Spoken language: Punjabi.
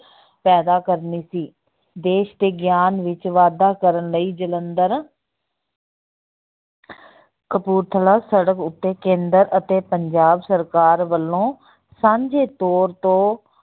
ਪੈਦਾ ਕਰਨੀ ਸੀ, ਦੇਸ ਦੇ ਗਿਆਨ ਵਿੱਚ ਵਾਧਾ ਕਰਨ ਲਈ ਜਲੰਧਰ ਕਪੂਰਥਲਾ ਸੜਕ ਉੱਤੇ ਕੇਂਦਰ ਅਤੇ ਪੰਜਾਬ ਸਰਕਾਰ ਵੱਲੋਂ ਸਾਂਝੇ ਤੋਰ ਤੋਂ